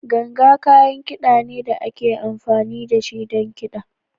Ganga kayan kida ne da ake amfani da shi don kiɗa.